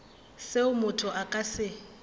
seo motho a ka se